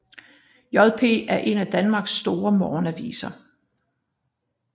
JP er en af Danmarks store morgenaviser